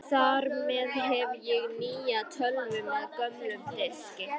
Þar með hef ég nýja tölvu með gömlum diski.